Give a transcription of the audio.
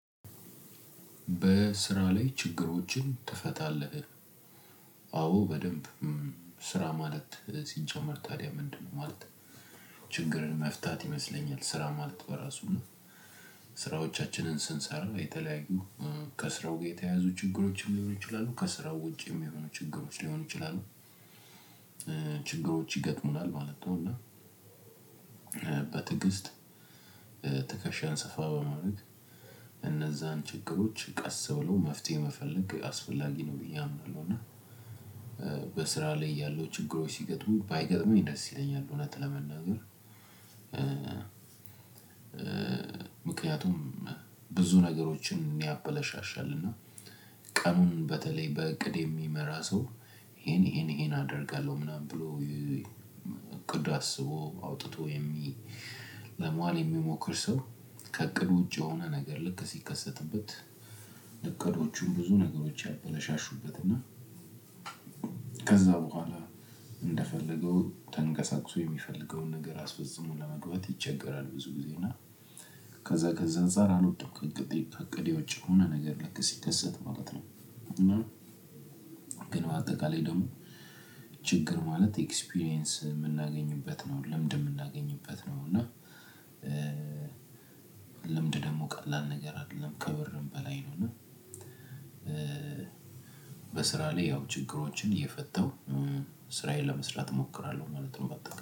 በስራ ላይ ችግሮችን ትፈታለህ? አዎ በደንብ። ስራ ማለት ሲጀመር ታዲያ ምንድነው? ማለት ችግርን መፍታት ይመስለኛል ስራ ማለት በራሱ እና። ስራዎቻችንን ስንሰራ የተለያዩ ከስራው ጋር የተያዙ ችግሮችን ሊሆኑ ይችላሉ ከስራው ውጪ የሚሆኑ ችግሮች ሊሆኑ ይችላሉ። ችግሮች ይገጥሙናል ማለት ነው እና። በትግስት ትከሻን ሰፋ በማድረግ እነዛን ችግሮች ቀስ ብሎ መፍትሄ መፈለግ አስፈላጊ ነው ብዬ አምናለሁና። በስራ ላይ ያለው ችግሮች ሲገጥሙ ባይገጥመኝ ደስ ይለኛል እውነት ለመናገር። ምክንያቱም ብዙ ነገሮችን ያበላሻሻልና። ቀኑን በተለይ በእቅድ የሚመራ ሰው ይሄን ይሄን ይሄን አደርጋለሁ ምናምን ብሎ እቅድ አስቦ አውጥቶ የሚ ለመዋል የሚሞክር ሰው። ከእቅድ ውጪ የሆነ ነገር ልክ ሲከሰትበት እቅዶቹን ብዙ ነገሮች ያበላሹበት እና። ከዛ በኋላ እንደፈለገው ተንቀሳቅሶ የሚፈልገውን ነገር አስፈጽሞ ለመግባት ይቸገራል። ብዙ ጊዜ እና። ከዛ ከዛ አንፃር አልወጣም ከእቅዴ ከእቅዴ ውጪ የሆነ ነገር ልክ ሲከሰት ማለት ነው። እና ግን በአጠቃላይ ደግሞ ችግር ማለት ኤክስፒሪያንስ የምናገኝበት ነው ልምድ የምናገኝበት ነው እና። ልምድ ደግሞ ቀላል ነገር አይደለም ከብርም በላይ ነው እና። በስራ ላይ ያው ችግሮችን እየፈታው ስራዬን ለመስራት እሞክራለሁ ማለት ነው። በቃ